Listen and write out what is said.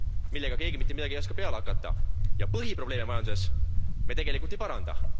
millega keegi mitte midagi ei oska peale hakata, ja põhiprobleeme majanduses me tegelikult ei paranda.